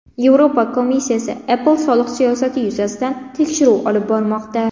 Yevropa komissiyasi Apple soliq siyosati yuzasidan tekshiruv olib bormoqda.